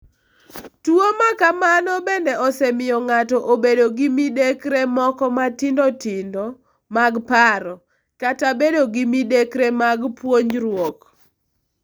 Tuwo ma kamano bende osemiyo ng'ato obedo gi midekre moko matindo tindo mag paro, kata bedo gi midekre mag puonjruok.